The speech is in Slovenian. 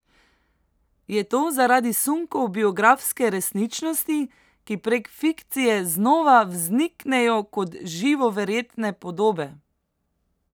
Je to zaradi sunkov biografske resničnosti, ki prek fikcije znova vzniknejo kot živo verjetne podobe?